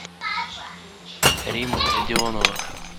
римма родионова